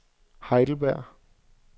Heidelberg